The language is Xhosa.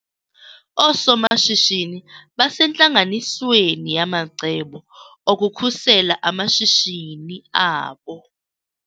Oosomashishini basentlanganisweni yamacebo okukhusela amashishini abo.